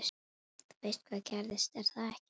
Þú veist hvað gerðist, er það ekki?